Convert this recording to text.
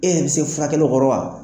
E bɛ yɛrɛ bɛ se furakɛli kɔrɔ wa?